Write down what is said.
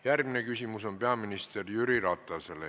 Järgmine küsimus on peaminister Jüri Ratasele.